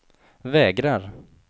vägrar